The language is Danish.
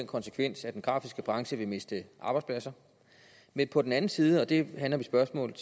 konsekvens at den grafiske branche vil miste arbejdspladser men på den anden side og det handler mit spørgsmål